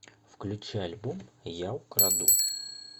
включи альбом я украду